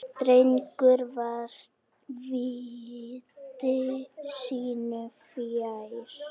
Drengur var viti sínu fjær.